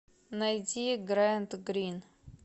найди грант грин